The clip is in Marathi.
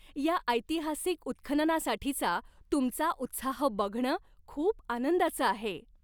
या ऐतिहासिक उत्खननासाठीचा तुमचा उत्साह बघणं खूप आनंदाचं आहे!